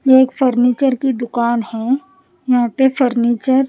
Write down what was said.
ये एक फर्नीचर की दुकान है यहां पे फर्नीचर --